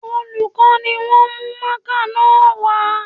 Olùkọ́ ni wọ́n mú mákà náà wá